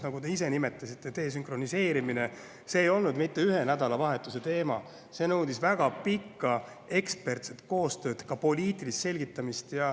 Nagu te ise nimetasite, ei olnud desünkroniseerimine mitte ühe nädalavahetuse teema, vaid see nõudis väga pikka ekspertide koostööd ja ka poliitilist selgitamist.